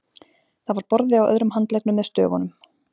Það var borði á öðrum handleggnum með stöfunum